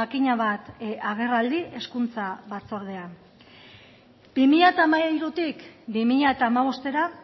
makina bat agerraldi hezkuntza batzordean bi mila hamairutik bi mila hamabostera